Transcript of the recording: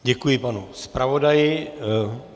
Děkuji panu zpravodaji.